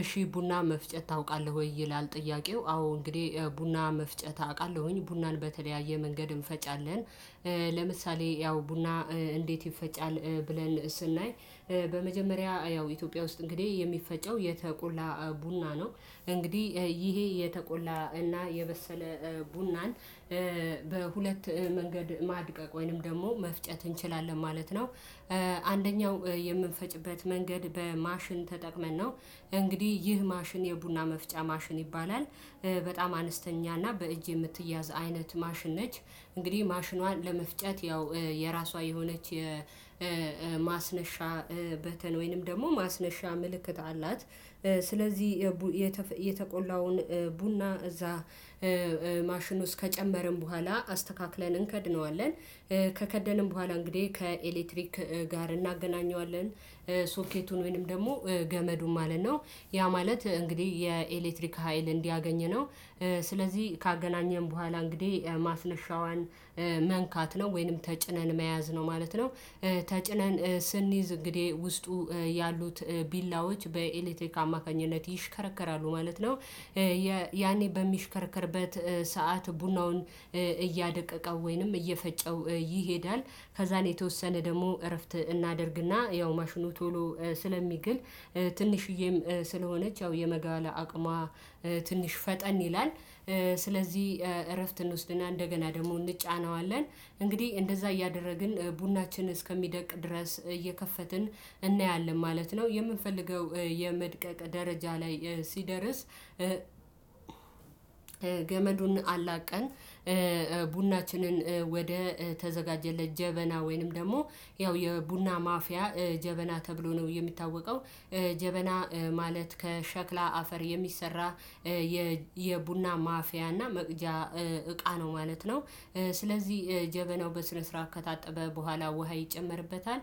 እሺ ቡና መፍጨት ታውቃለህ ወይ ይላል? ጥያቄው አዎ እንግዲህ ቡና መፍጨት አቃለሁኝ ቡናን በተለያየ መንገድ እንፈጫለን። ለምሳሌ ያው ቡና እንዴት ይፈጫል ብለን ስናይ። በመጀመሪያ ያው ኢትዮጵያ ውስጥ እንግዲህ የሚፈጨው የተቆላ ቡና ነው። እንግዲህ ይሄ የተቆላ እና የበሰለ ቡናን በሁለት መንገድ ማድቀቅ ወይንም ደግሞ መፍጨት እንችላለን ማለት ነው። አንደኛው የምንፈጭበት መንገድ በማሽን ተጠቅመን ነው። እንግዲህ ይህ ማሽን የቡና መፍጫ ማሽን ይባላል። በጣም አነስተኛ እና በእጅ የምትያዝ አይነት ማሽን ነች። እንግዲህ ማሽኗን ለመፍጨት ያው የራሷ የሆነች የማስነሻ በተን ወይንም ደግሞ ማስነሻ ምልክት አላት። ስለዚህ የተቆላውን ቡና እዛ ማሽን ውስጥ ከጨመርን በኋላ አስተካክለን እንከድነዋለን። ከከደንን በኋላ እንግዲህ ከኤሌክትሪክ ጋር እናገናኘዋለን። ሶኬቱን ወይንም ደግሞ ገመዱን ማለት ነው። ያ ማለት እንግዲህ የኤሌክትሪክ ሀይል እንዲያገኝ ነው። ስለዚህ ካገናኘን በኋላ እንግዲህ ማስነሻዋን መንካት ነው ወይንም ተጭነን መያዝ ነው ማለት ነው። ተጭነን ስንይዝ እንግዲህ ውስጡ ያሉት ቢላዎች በኤሌክቴክ አማካኝነት ይሽከረከራሉ ማለት ነው። ያኔ በሚሽከረከርበት ሰዓት ቡናውን እያደቀቀው ወይንም እየፈጨው ይሄዳል። ከዛን የተወሰነ ደግሞ እረፍት እናደርግና ያው ማሽኑ ቶሎ ስለሚግል። ትንሽዬም ስለሆነች ያው የመጋል አቅሟ ትንሽ ፈጠን ይላል። ስለዚህ እረፍት እንውስድና እንደገና ደግሞ እንጫነዋለን እንግዲህ እንደዛ እያደረግን ቡናችን እስከሚደቅ ድረስ እየከፈትን እናያለን ማለት ነው። የምንፈልገው የመድቀቅ ደረጃ ላይ ሲደርስ ገመዱን አላቀን። ቡናችንን ወደ ተዘጋጀለት ጀበና ወይንም ደግሞ ያው የቡና ማፍያ ጀበና ተብሎ ነው የሚታወቀው። ጀበና ማለት ከሸክላ አፈር የሚሰራ የቡና ማፍያና መቅጃ እቃ ነው ማለት ነው። ስለዚህ ጀበናው በስነ ስርዓት ከታጠበ በኋላ ውሃ ይጨመርበታል።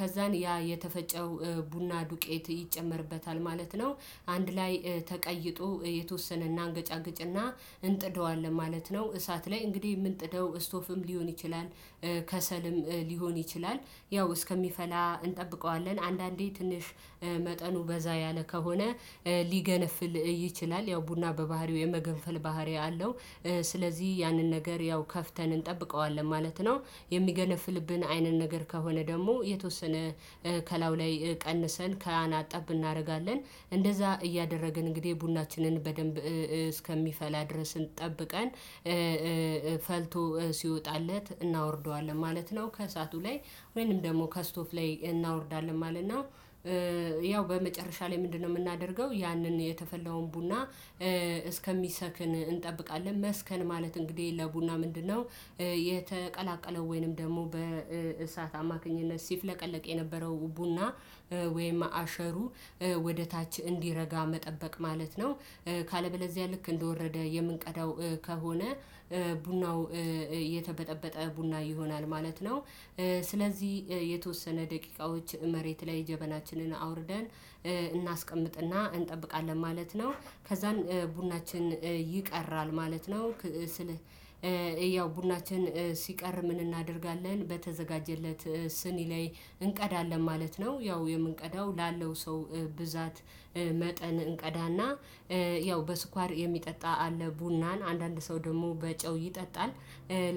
ከዛን ያ የተፈጨው ቡና ዱቄት ይጨመርበታል ማለት ነው። አንድ ላይ ተቀይጦ የተወሰነ አናገጫግጭና እንጥደዋለን ማለት ነው። እሳት ላይ እንግዲህ የምንጥደው ስቶፍም ሊሆን ይችላል ከሰልም ሊሆን ይችላል። ያው እስከሚፈላ እንጠብቀዋለን አንዳንዴ ትንሽ መጠኑ በዛ ያለ ከሆነ ሊገነፍል ይችላል ያው ቡና በባህሪው የመገንፈል ባህሪ አለው። ስለዚህ ያንን ነገር ያው ከፍተን እንጠብቀዋለን ማለት ነው። የሚገነፍልብን አይነን ነገር ከሆነ ደግሞ የተወሰነ ከላው ላይ ቀንሰን ከአና ጠብ ናደርጋለን። እንደዛ እያደረግን እንግዲህ ቡናችንን በደንብ እስከሚፈላ ድረስ ጠብቀን ፈልቶ ሲወጣለት እናወርደዋለን ማለት ነው። ከእሳቱ ላይ ወይንም ደግሞ ከስቶፍ ላይ እናወርዳለን ማለት ነው። ያው በመጨረሻ ላይ ምንድነው የምናደርገው? ያንን የተፈላውን ቡና እስከሚሰክን እንጠብቃለን መስከን ማለት እንግዲህ ለቡና ምንድነው የተቀላቀለው ወይንም ደግሞ በእሳት አማካኝነት ሲፍለቀለቅ የነበረው ቡና ወይም አሸሩ ወደ ታች እንዲረጋ መጠበቅ ማለት ነው። ካለበለዚያ ልክ እንደወረደ የምንቀዳው ከሆነ ቡናው የተበጠበጠ ቡና ይሆናል ማለት ነው። ስለዚህ የተወሰነ ደቂቃዎች መሬት ላይ ጀበናችንን አውርደን እናስቀምጥና እንጠብቃለን ማለት ነው። ከዛም ቡናችን ይቀራል ማለት ነው። ስል ያው ቡናችን ሲቀር ምን እናደርጋለን? በተዘጋጀለት ስኒ ላይ እንቀዳለን ማለት ነው። ያው የምንቀዳው ላለው ሰው ብዛት መጠን እንቀዳና ያው በስኳር የሚጠጣ አለ ቡናን አንዳንድ ሰው ደግሞ በጨው ይጠጣል።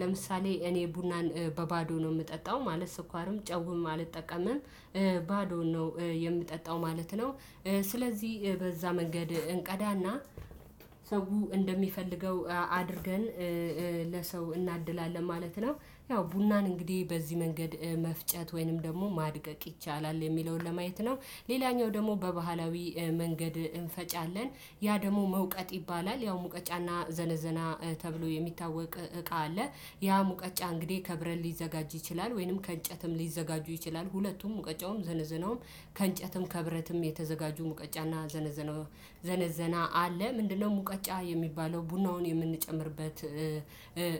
ለምሳሌ እኔ ቡናን በባዶ ነው ምጠጣው ማለት ስኳርም ጨውም አልጠቀምም። ባዶውን ነው የምጠጣው ማለት ነው። ስለዚህ በዛ መንገድ እንቀዳና ሰው እንደሚፈልገው አድርገን ለሰው እናድላለን ማለት ነው። ያው ቡናን እንግዲህ በዚህ መንገድ መፍጨት ወይንም ደግሞ ማድቀቅ ይቻላል የሚለውን ለማየት ነው። ሌላኛው ደግሞ በባህላዊ መንገድ እንፈጫለን ያ ደግሞ መውቀጥ ይባላል። ያው ሙቀጫና ዘነዘና ተብሎ የሚታወቅ እቃ አለ። ያ ሙቀጫ እንግዲህ ከብረት ሊዘጋጅ ይችላል ወይንም ከእንጨትም ሊዘጋጁ ይችላል። ሁለቱም ሙቀጫውም ዘነዘናውም ከእንጨትም ከብረትም የተዘጋጁ ሙቀጫና ዘነዘና። ዘነዘና አለ ምንድነው ሙቀጫ የሚባለው ቡናውን የምንጨምርበት።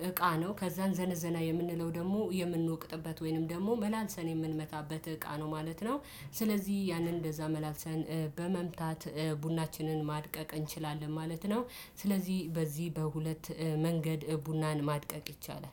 እቃ ነው ከዛን ዘነዘና የምንለው ደግሞ የምንወቅጥበት ወይንም ደግሞ መላልሰን የምንመታበት እቃ ነው ማለት ነው። ስለዚህ ያንን እንደዛ መላልሰን በመምታት ቡናችንን ማድቀቅ እንችላለን ማለት ነው። ስለዚህ በዚህ በሁለት መንገድ ቡናን ማድቀቅ ይቻላል።